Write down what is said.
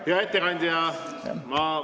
Hea ettekandja!